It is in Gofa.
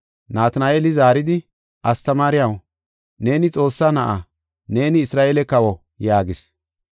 Natina7eeli zaaridi, “Astamaariyaw, neeni Xoossaa Na7aa! Neeni Isra7eele kawo!” yaagis.